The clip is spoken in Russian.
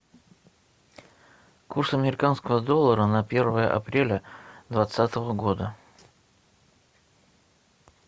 курс американского доллара на первое апреля двадцатого года